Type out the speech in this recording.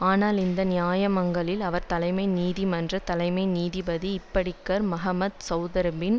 ஆனால் இந்த நியாயமங்களில் அவர் தலைமை நீதிமன்ற தலைமை நீதிபதி இப்டிகார் மகம்மத் செளத்ரியின்